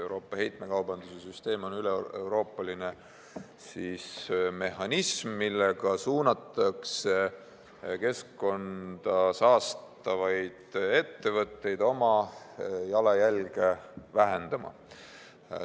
Euroopa heitmekaubanduse süsteem on üleeuroopaline mehhanism, millega suunatakse keskkonda saastavaid ettevõtteid oma jalajälge vähendama.